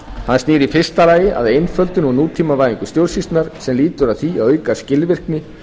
hann snýr í fyrsta lagi að einföldun og nútímavæðingu stjórnsýslunnar sem lýtur að því að auka skilvirkni